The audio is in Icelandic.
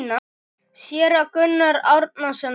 Séra Gunnar Árnason skrifar